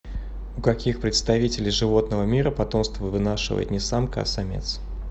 у каких представителей животного мира потомство вынашивает не самка а самец